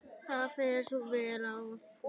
Það fer vel á því.